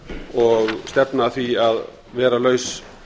og stefna að því að vera laus